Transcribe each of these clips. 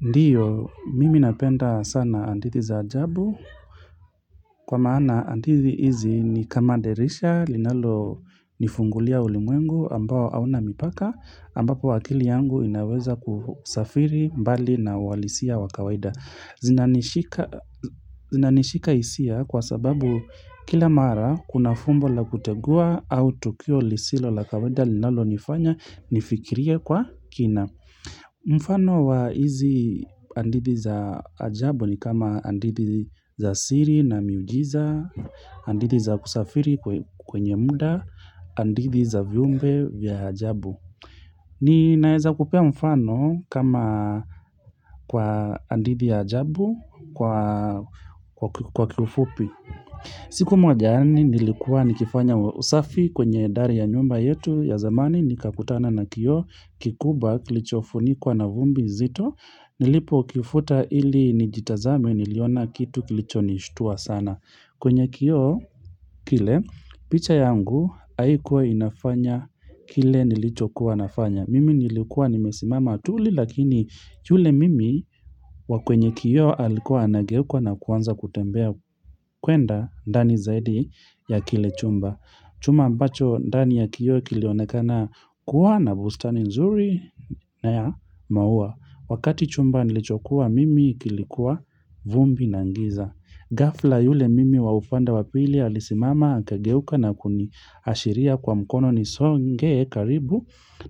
Ndiyo, mimi napenda sana hadithi za ajabu kwa maana andithi hizi ni kama dirisha linalo nifungulia ulimwengu ambao auna mipaka ambapo wakili yangu inaweza kusafiri mbali na uwalisia wa kawaida. Zina nishika hisia kwa sababu kila mara kuna fumbo la kutegua au tukio lisilo la kawaida linalo nifanya nifikiria kwa kina. Mfano wa hizi andidhi za ajabu ni kama andidhi za siri na miujiza Andidhi za kusafiri kwenye muda Andidhi za viumbe vya ajabu ni naeza kupea mfano kama kwa andidhi ya ajabu kwa kiufupi siku moja mi nilikua nikifanya usafi kwenye ndari ya nyumba yetu ya zamani ni kakutana na kio kikubwa kilicho funikuwa na vumbi zito nilipokifuta ili nijitazame niliona kitu kilicho nishtua sana kwenye kio kile picha yangu haikuwa inafanya kile nilicho kuwanafanya mimi nilikuwa nimesimama tuli lakini yule mimi wa kwenye kio alikuwa anageuka na kuanza kutembea kwenda ndani zaidi ya kile chumba Chumba ambacho ndani ya kio kilionekana kuwa na bustani nzuri na ya maua Wakati chumba nilichokuwa mimi kilikuwa vumbi na ngiza gafla yule mimi wa ufande wa pili alisimama akageuka na kuni ashiria kwa mkono ni songee karibu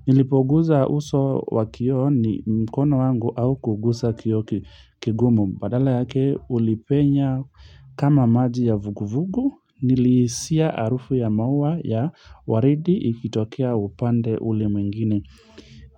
Nilipoguza uso wa kioo ni mkono wangu hauku gusa kio kigumu Badala yake ulipenya kama maji ya vuguvugu, nilihisia harufu ya maua ya waridi ikitokea upande ule mwingine.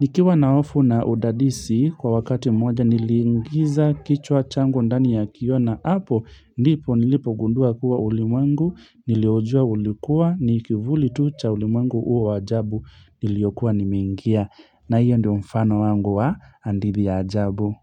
Nikiwa na hofu na udadisi, kwa wakati mmoja nilingiza kichwa changu ndani ya kio na. Apo, ndipo nilipo gundua kuwa ulimwengu, nilioujua ulikuwa, ni kivuli tu cha ulimwengu huo waajabu nilio kuwa nimeingia. Na hiyo ndio mfano wangu wa andidhi ya ajabu.